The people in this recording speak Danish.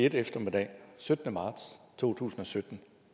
en eftermiddag den syttende marts to tusind og sytten